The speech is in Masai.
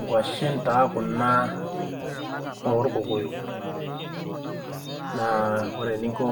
Nkuashin taa kunaa orkokoyok naa ore eninko